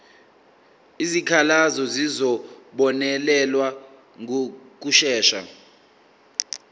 izikhalazo zizobonelelwa ngokushesha